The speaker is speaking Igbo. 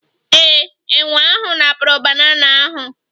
Ee, enwe ahụ napụrụ banana ahụ